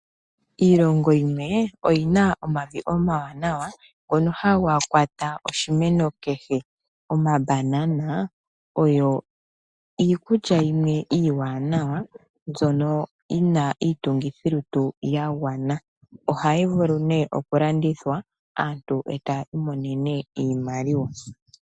Iilongo yimwe oyi na omavi omawanawa ngoka haga kwata oshimeno kehe. Omabanana oyo iikulya iiwanawa mbyoka yi na iitungithilutu yagwana, ohayi vulu nee okulandithwa aantu taya imonene iimaliwa.